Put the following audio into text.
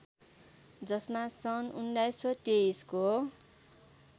जसमा सन् १९२३ को